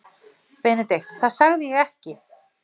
BENEDIKT: Það sagði ég ekki.